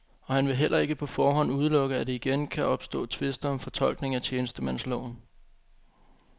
Og han vil heller ikke på forhånd udelukke, at der igen kan opstå tvister om fortolkningen af tjenestemandsloven.